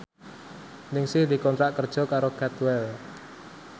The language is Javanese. Ningsih dikontrak kerja karo Cadwell